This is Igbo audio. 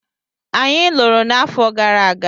Anyị lụrụ n'afọ gara aga.